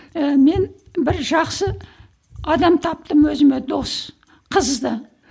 ііі мен бір жақсы адам таптым өзіме дос қызды